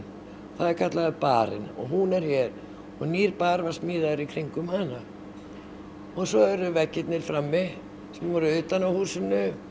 það er kallaður barinn og hún er hér og nýr bar var smíðaður í kringum hana og svo eru veggirnir frammi sem voru utan á húsinu